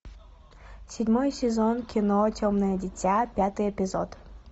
седьмой сезон кино темное дитя пятый эпизод